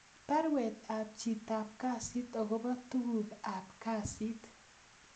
Baruet ab chitap kasit agobo tuguk ab kasit